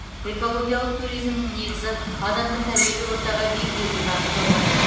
экологиялық туризмнің негізі адамды табиғи ортаға бейімдеуге бағытталған